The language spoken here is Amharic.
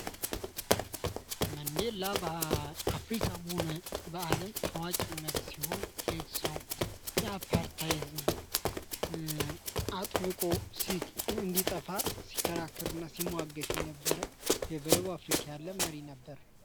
መንዴላ በአፍሪካም ሆነ በአለም ታዋቂ መሪ ሲሆን ሰው የአፓርታይዚ አጥቢቆ ሲእንዲጠፋ ሲከራከርና ሲሟገት የነበር በደቡብ አፍሪካ ያለ መሪ ነበር።